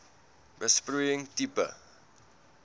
besproeiing tipe